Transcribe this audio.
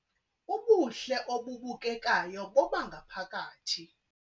Ubuhle obubukekayo bobangaphakathi